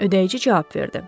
Ödəyici cavab verdi.